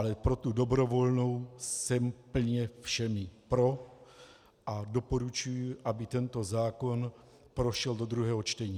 Ale pro tu dobrovolnou jsem plně všemi pro a doporučuji, aby tento zákon prošel do druhého čtení.